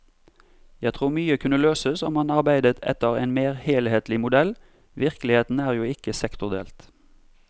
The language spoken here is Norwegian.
Jeg tror mye kunne løses om man arbeidet etter en mer helhetlig modell, virkeligheten er jo ikke sektordelt!